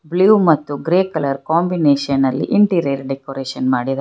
Blue ಮತ್ತು grey colour ಕಾಂಬಿನೇಷನಲ್ಲಿ interior decoration ಮಾಡಿದಾರೆ.